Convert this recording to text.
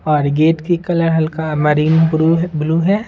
ओर gate की colour हल्का marine blue है।